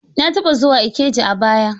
Na taba zuwa Ikeja a baya.